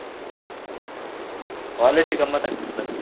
College ಏ ಗಮ್ಮತ್ ಆಗ್ತದೆ ನನಗೆ.